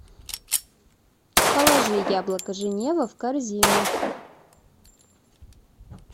положи яблоко женева в корзину